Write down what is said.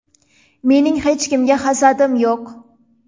Mening hech kimga hasadim yo‘q.